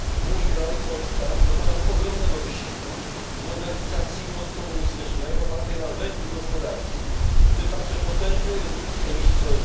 Mój kraj, Polska, dokonał ogromnego wysiłku w modernizacji poskomunistycznej, opartej na węglu gospodarki, w tym także potężnej redukcji emisji CO